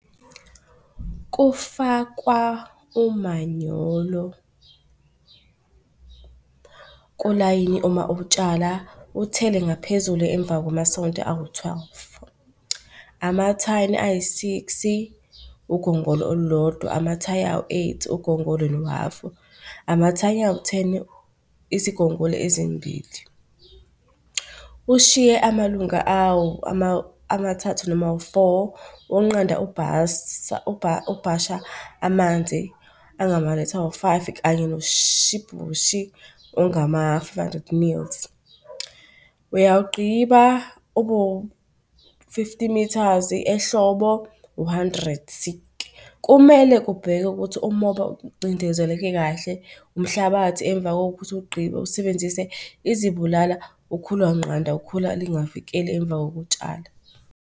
Kufakwa umanyolo kulayini uma utshala uthele ngaphezulu emva kwamasonto awu-twelve. Amathani ayi-six-i ugongolo olulodwa, amathayi nawu-eight ugongolo nohhafu, amathani awu-ten-i izigongolo ezimbili. Ushiye amalunga amathathu noma awu-four wokunqanda ubhasha amanzi angamalitha awu-five kanye noshibhobhi ongama-five hundred mils. Uyawugqiba ube wu-fifty metres. ehlobo uhandrethi-ke. Kumele kubhekwe ukuthi umoba ucindezeleke kahle umhlabathi emva kokuthi uwugqibe usebenzise izibulala, ukhulanqanda, ukhula lingavikeli emva kokutshala.